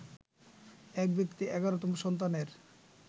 এক ব্যক্তি ১১তম সন্তানের